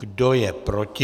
Kdo je proti?